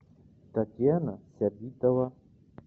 татьяна сабитова